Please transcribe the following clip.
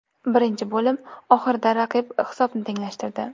Birinchi bo‘lim oxirida raqib hisobni tenglashtirdi.